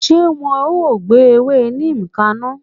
Ṣé wọn o gbé ewé neem kaná?